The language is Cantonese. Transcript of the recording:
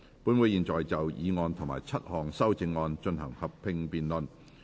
本會現在就議案及7項修正案進行合併辯論。